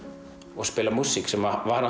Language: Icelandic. og spila músík sem var